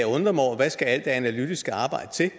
undre mig over hvad alt det analytiske arbejde